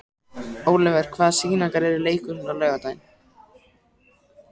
Ólíver, hvaða sýningar eru í leikhúsinu á laugardaginn?